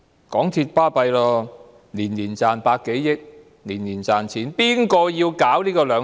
港鐵很厲害，每年賺百多億元，而且年年賺錢。